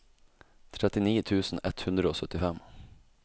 trettini tusen ett hundre og syttifem